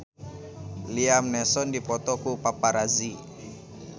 Liam Neeson dipoto ku paparazi